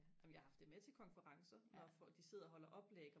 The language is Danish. jamen jeg har haft det med til konferencer når folk de sidder og holder oplæg